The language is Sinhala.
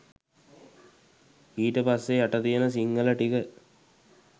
ඊට පස්සෙ යට තියන සිංහල ටික